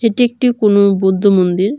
এটি একটি কুনো বুদ্ধ মন্দির।